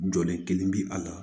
Jɔn kelen bɛ a la